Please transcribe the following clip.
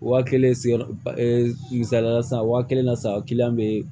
Waa kelen sigiyɔrɔ misaliya la sisan waa kelen na sa bɛ yen